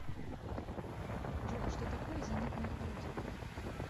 джой что такое зенитное орудие